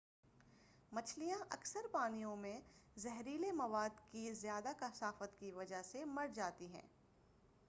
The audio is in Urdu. مچھلیاں اکثر پانیوں میں زہریلے مواد کی زیادہ کثافت کی وجہ سے مرجاتی ہیں